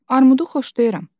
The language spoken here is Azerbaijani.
Armudu xoşlayıram.